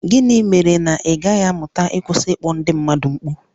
Gịnị mere na ị gaghị amụta ịkwụsị ịkpọ ndị mmadụ mkpu?